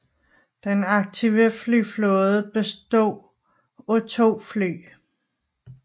Den aktive flyflåde bestod af 2 fly